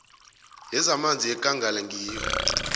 yezamanzi yekangala ngiyo